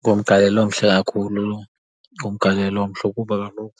Ngumgalelo omhle kakhulu lo. Ngumgalelo omhle kuba kaloku